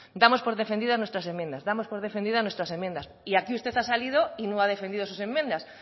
damos por defendidas nuestras enmiendas damos por defendidas nuestras enmiendas y aquí usted ha salido y no ha defendido sus enmiendas